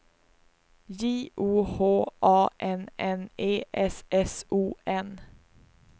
J O H A N N E S S O N